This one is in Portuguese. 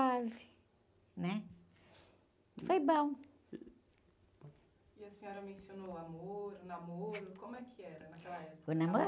ve, né? Foi bom. a senhora mencionou o amor, o namoro, como é que era naquela época? namoro?